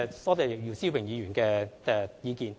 多謝姚思榮議員的意見。